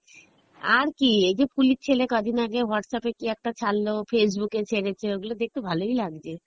আরে ওইজো photo গুলো দেখি, সব ওই কোথায় নৌকো ডুবে যাচ্ছে, তারপরে সব হচ্ছে আর কী, এইযে ফুলির ছেলে কয়দিন আগে Whatsapp এ কী একটা ছাড়লো, Facebook এ ছেড়েছে ওইগুলো দেখতে ভালোই লাগছে